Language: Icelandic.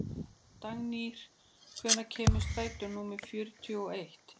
Dagnýr, hvenær kemur strætó númer fjörutíu og eitt?